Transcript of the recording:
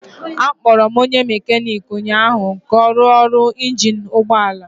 Akpọrọ onye mekaniki ụnyahụ ka ọ rụọ ọrụ injin ụgbọ ala